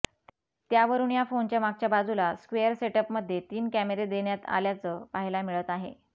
त्यावरुन या फोनच्या मागच्या बाजूला स्क्वेअर सेटअपमध्ये तीन कॅमेरे देण्यात आल्याचं पाहायला मिळत आहे